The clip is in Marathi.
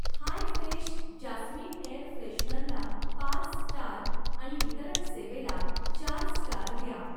हाय फ्रेश जास्मिन एअर फ्रेशनरला पाच स्टार आणि वितरण सेवेला चार स्टार द्या.